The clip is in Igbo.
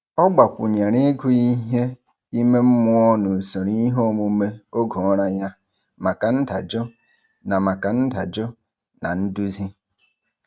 Ọ gbakwụnyere ịgụ ihe ime mmụọ n'usoro iheomume oge ụra ya maka ndajụ na maka ndajụ na nduzi.